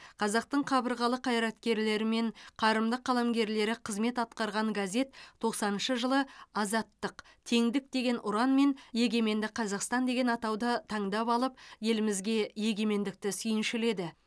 қазақтың қабырғалы қайраткерлері мен қарымды қаламгерлері қызмет атқарған газет тоқсаныншы жылы азаттық теңдік деген ұран мен егеменді қазақстан деген атауды таңдап алып елімізге егемендікті сүйіншіледі